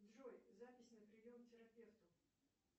джой запись на прием к терапевту